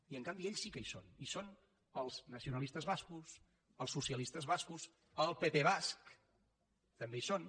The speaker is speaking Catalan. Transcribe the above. i en canvi ells sí que hi són hi són els nacionalistes bascos els socialistes bascos el pp basc també hi són